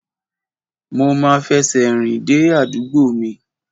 Mo ma fẹsẹ̀ rìn dé àdúgbò mi.